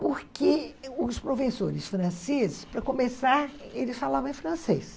Porque os professores franceses, para começar, eles falavam em francês.